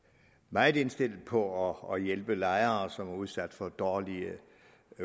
meget indstillet på at hjælpe lejere som er udsat for dårlige